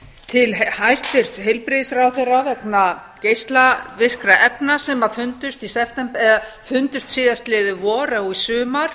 til hæstvirts heilbrigðisráðherra vegna geislavirkra efna sem fundust í september eða fundust síðastliðið vor eða sumar